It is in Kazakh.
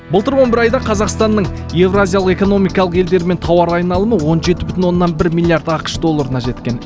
былтыр он бір айда қазақстанның еуразиялық экономикалық елдерімен тауар айналымы он жеті бүтін оннан бір миллиард ақш долларына жеткен